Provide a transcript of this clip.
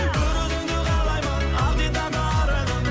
бір өзіңді қалаймын ақ дидарлы арайлым